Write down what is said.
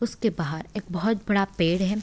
उसके बाहर एक बहोत बड़ा पेड़ है।